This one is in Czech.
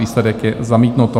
Výsledek je: zamítnuto.